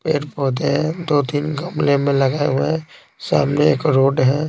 पे होते हैंदो तीन कमले में लगे हुए हैंसामने एक रोड है।